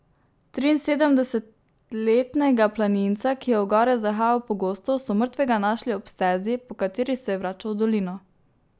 Triinsedemdesetletnega planinca, ki je v gore zahajal pogosto, so mrtvega našli ob stezi, po kateri se je vračal v dolino.